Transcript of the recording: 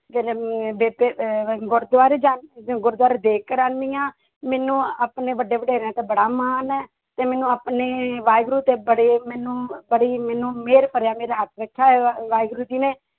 ਬੇਬੇ ਅਹ ਗੁਰਦੁਆਰੇ ਜਾ ਗੁਰੁਦੁਆਰੇ ਦੇਗ ਕਰਵਾਉਂਦੀ ਹਾਂ ਮੈਨੂੰ ਆਪਣੇ ਵੱਡੇ ਵਡੇਰਿਆਂ ਤੇ ਬੜਾ ਮਾਣ ਹੈ, ਤੇ ਮੈਨੂੰ ਆਪਣੇ ਵਾਹਿਗੁਰੂ ਤੇ ਬੜੇ ਮੈਨੂੰ ਬੜੀ ਮੈਨੂੰ ਮਿਹਰ ਭਰਿਆ ਮੇਰਾ ਹੱਥ ਰੱਖਿਆ ਹੋਇਆ ਵਾ ਵਾਹਿਗੁਰੂ ਜੀ ਨੇ।